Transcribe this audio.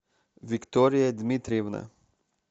виктория дмитриевна